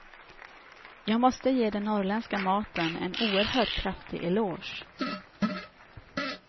Jag måste ge den norrländska maten en oerhört kraftig eloge.